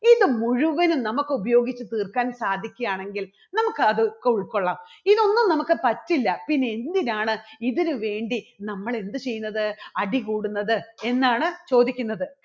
ഇതു മുഴുവനും നമുക്ക് ഉപയോഗിച്ച് തീർക്കാൻ സാധിക്കാണെങ്കിൽ നമുക്ക് അതൊക്കെ ഉൾകൊള്ളാം. ഇതൊന്നും നമുക്ക് പറ്റില്ല പിന്നെ എന്തിനാണ് ഇതിനുവേണ്ടി നമ്മൾ എന്തു ചെയ്യുന്നത്? അടി കൂടുന്നത് എന്നാണ് ചോദിക്കുന്നത്.